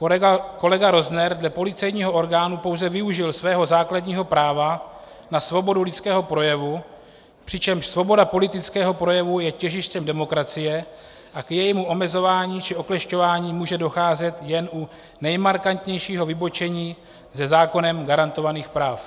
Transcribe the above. Kolega Rozner dle policejního orgánu pouze využil svého základního práva na svobodu lidského projevu, přičemž svoboda politického projevu je těžištěm demokracie a k jejímu omezování či oklešťování může docházet jen u nejmarkantnějšího vybočení ze zákonem garantovaných práv.